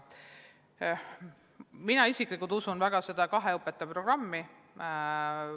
Mina isiklikult usun väga sellesse kahe õpetaja programmi.